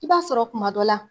I b'a sɔrɔ kuma dɔ la